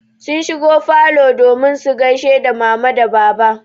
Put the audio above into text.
Sun shigo falo domin su gaishe da mama da baba.